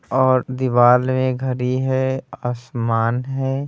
और दिवाल में घड़ी है आसमान है।